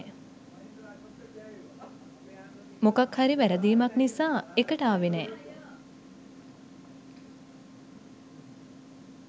මොකක් හරි වැරදීමක් නිසා එකට ආවෙ නෑ.